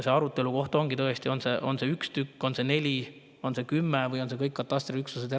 Arutelu koht ongi tõesti see, kas on üks tükk, neli või kümme või on kõik katastriüksused eraldi.